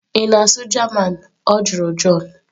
"Ị na-asụ German? Ọ jụrụ john"